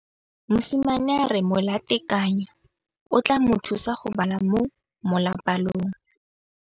Mosimane a re molatekanyô o tla mo thusa go bala mo molapalong.